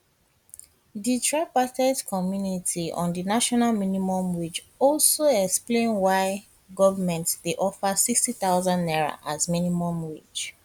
di tripartite committee on di national minimum wage also explain why why goment dey offer n60000 as minimum wage